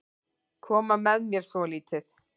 Koma með mér svolítið.